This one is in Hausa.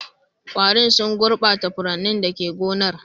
Ƙwarin sun gurbata furannin da ke gonar.